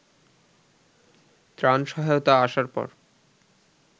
ত্রাণ সহায়তা আসার পর